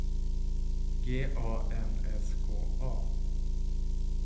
G A N S K A